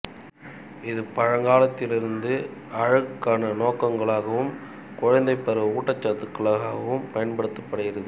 இது பழங்காலத்திலிருந்து அழகுக்கான நோக்கங்களுக்காகவும் குழந்தைப் பருவ ஊட்டச்சத்துகளுக்காகவும் பயன்படுத்தப்படுகிறது